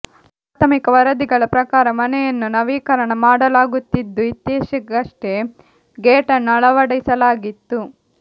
ಪ್ರಾಥಮಿಕ ವರದಿಗಳ ಪ್ರಕಾರ ಮನೆಯನ್ನು ನವೀಕರಣ ಮಾಡಲಾಗುತ್ತಿದ್ದು ಇತ್ತೀಚೆಗಷ್ಟೆ ಗೇಟನ್ನು ಅಳವಡಿಸಲಾಗಿತ್ತು